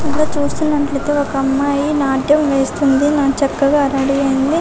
ఇక్కడ చూస్తున్నట్లయితే ఒక అమ్మాయి నాట్యం వేస్తుంది చక్కగా రెడీ అయింది .